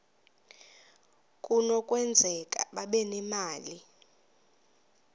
kunokwenzeka babe nemali